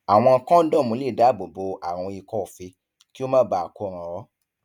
àwọn kọńdọọmù lè dáàbò bo àrùn ikọife kí ó má baà ko ràn ọ